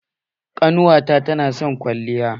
Ƙannuwa na ta na son kwalliya.